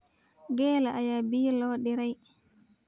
Geela ayaa biyo loo diray